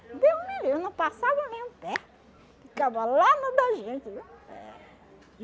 Deus me livre, não passava nem um pé, ficava lá no da gente, viu? É